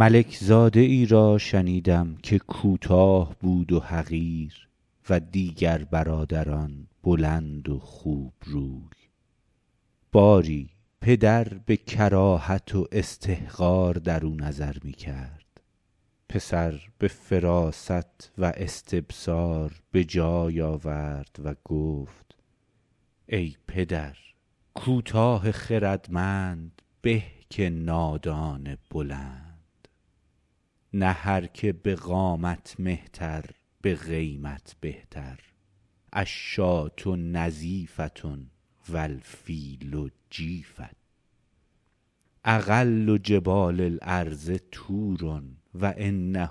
ملک زاده ای را شنیدم که کوتاه بود و حقیر و دیگر برادران بلند و خوب روی باری پدر به کراهت و استحقار درو نظر می کرد پسر به فراست و استبصار به جای آورد و گفت ای پدر کوتاه خردمند به که نادان بلند نه هر چه به قامت مهتر به قیمت بهتر الشاة نظیفة و الفیل جیفة اقل جبال الارض طور و انه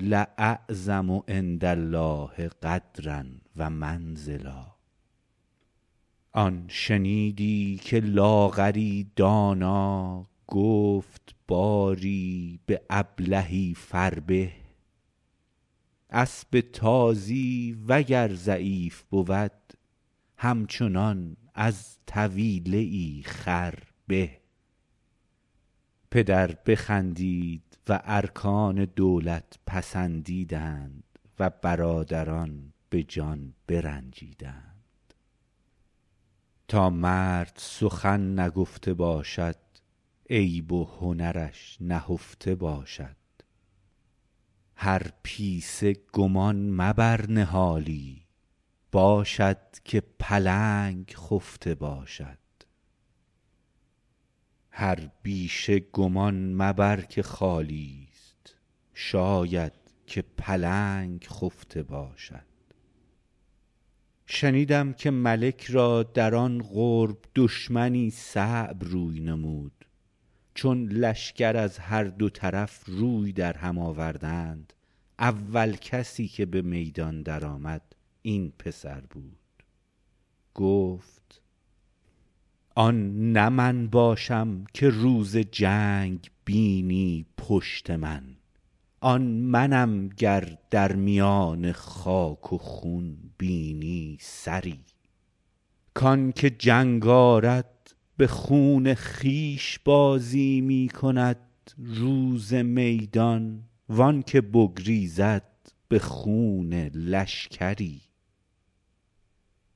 لاعظم عندالله قدرا و منزلا آن شنیدی که لاغری دانا گفت باری به ابلهی فربه اسب تازی وگر ضعیف بود همچنان از طویله ای خر به پدر بخندید و ارکان دولت پسندیدند و برادران به جان برنجیدند تا مرد سخن نگفته باشد عیب و هنرش نهفته باشد هر پیسه گمان مبر نهالی باشد که پلنگ خفته باشد شنیدم که ملک را در آن قرب دشمنی صعب روی نمود چون لشکر از هر دو طرف روی در هم آوردند اول کسی که به میدان در آمد این پسر بود گفت آن نه من باشم که روز جنگ بینی پشت من آن منم گر در میان خاک و خون بینی سری کانکه جنگ آرد به خون خویش بازی می کند روز میدان و آن که بگریزد به خون لشکری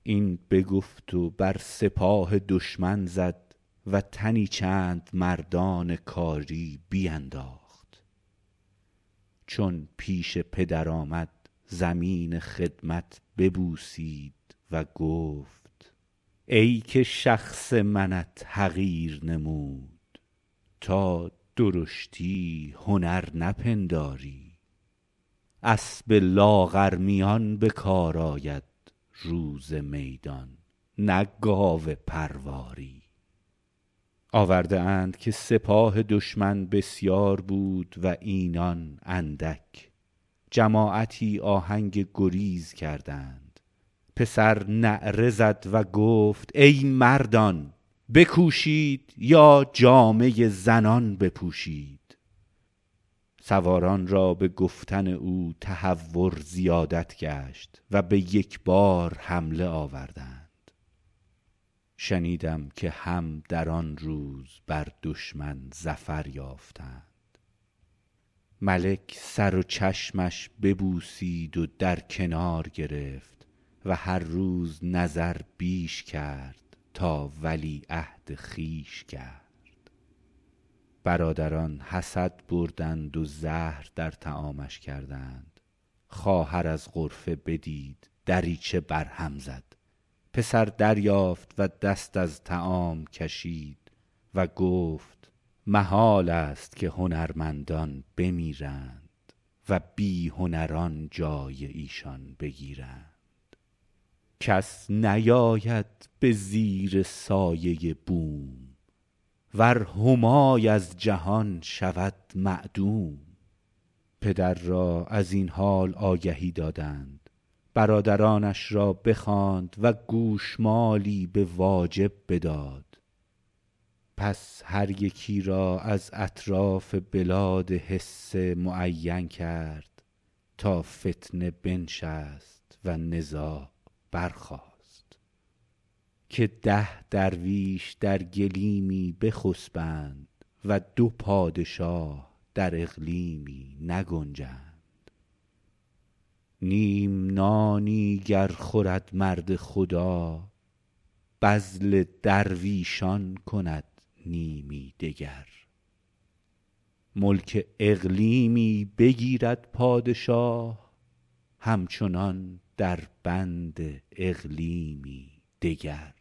این بگفت و بر سپاه دشمن زد و تنی چند مردان کاری بینداخت چون پیش پدر آمد زمین خدمت ببوسید و گفت ای که شخص منت حقیر نمود تا درشتی هنر نپنداری اسب لاغرمیان به کار آید روز میدان نه گاو پرواری آورده اند که سپاه دشمن بسیار بود و اینان اندک جماعتی آهنگ گریز کردند پسر نعره زد و گفت ای مردان بکوشید یا جامه زنان بپوشید سواران را به گفتن او تهور زیادت گشت و به یک بار حمله آوردند شنیدم که هم در آن روز بر دشمن ظفر یافتند ملک سر و چشمش ببوسید و در کنار گرفت و هر روز نظر بیش کرد تا ولیعهد خویش کرد برادران حسد بردند و زهر در طعامش کردند خواهر از غرفه بدید دریچه بر هم زد پسر دریافت و دست از طعام کشید و گفت محالست که هنرمندان بمیرند و بی هنران جای ایشان بگیرند کس نیاید به زیر سایه بوم ور همای از جهان شود معدوم پدر را از این حال آگهی دادند برادرانش را بخواند و گوشمالی به واجب بداد پس هر یکی را از اطراف بلاد حصه معین کرد تا فتنه بنشست و نزاع برخاست که ده درویش در گلیمی بخسبند و دو پادشاه در اقلیمی نگنجند نیم نانی گر خورد مرد خدا بذل درویشان کند نیمی دگر ملک اقلیمی بگیرد پادشاه همچنان در بند اقلیمی دگر